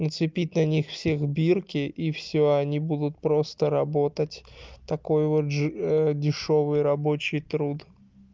нацепить на них всех бирки и всё они будут просто работать такой вот дешёвый рабочий труд